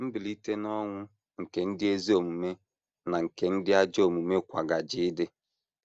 “ Mbilite n’ọnwụ nke ndị ezi omume na nke ndị ajọ omume kwa gaje ịdị. ”